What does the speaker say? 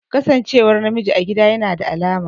Kasancewar namiji a gida yana da alama